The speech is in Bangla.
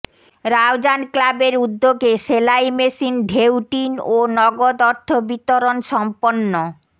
রাউজান ক্লাবের উদ্যোগে সেলাই মেশিন ঢেউটিন ও নগদ অর্থ বিতরণ সম্পন্ন